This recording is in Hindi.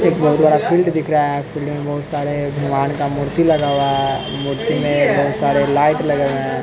एक बहुत बड़ा फील्ड दिख रहा हैं फिल्ड में बहुत सारे भगवान का मूर्ति लगा हुआ है मूर्ति में बहुत सारे लाइट लगे हुए है।